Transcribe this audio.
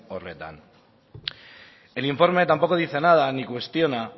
horretan el informe tampoco dice nada ni cuestiona